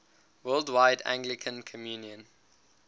worldwide anglican communion